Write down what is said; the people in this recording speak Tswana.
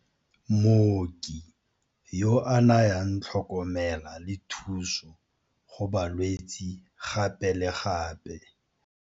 Mooki yo a nayang tlhokomela le thuso go balwetse gape le gape.